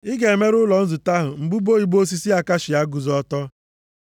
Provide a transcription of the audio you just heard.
“Ị ga-emere ụlọ nzute ahụ mbudo ibo osisi akashia, guzo ọtọ.